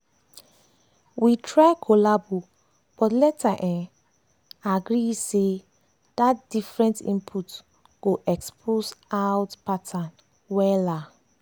we try collabo but later um agree say dat different inpute go expose out pattern wella.